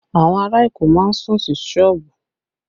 Awon ara Èkó má ń sùn sí sọ́ọ̀bù